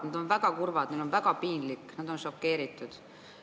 Nad on väga kurvad, neil on väga piinlik, nad on šokeeritud.